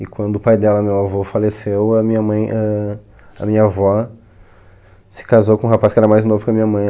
E quando o pai dela, meu avô, faleceu, a minha mãe ãh minha avó se casou com um rapaz que era mais novo que a minha mãe.